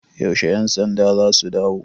Yaushe 'yansandan za su dawo?